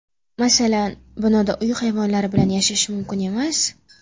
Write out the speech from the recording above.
Masalan, binoda uy hayvonlari bilan yashash mumkin emas.